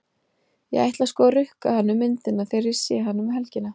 Ég ætla sko að rukka hann um myndina þegar ég sé hann um helgina.